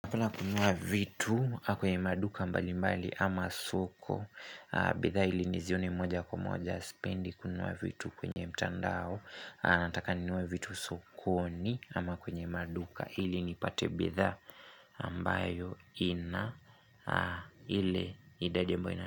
Hakuna kununua vitu kwenye maduka mbali mbali ama soko bidhaa ili nizione moja kwa moja sipendi kununua vitu kwenye mtandao Nataka ninunue vitu sokoni ama kwenye maduka ili nipate bidhaa ambayo ina ile idadi ambayo ina.